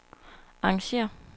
arrangér